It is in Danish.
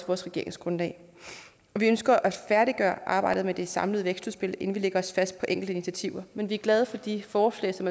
vores regeringsgrundlag vi ønsker at færdiggøre arbejdet med det samlede vækstudspil inden vi lægger os fast på enkelte initiativer men vi er glade for de forslag som